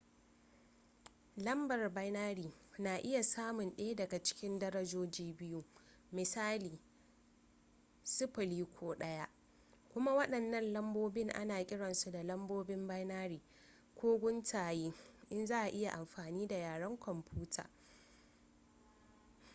lambar binary na iya samun ɗaya daga darajoji biyu misali 0 ko 1 kuma waɗannan lambobin ana kiransu da lambobin binary ko guntaye in za a yi amfani da yaren kwamfuta